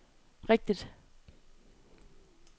rigtigt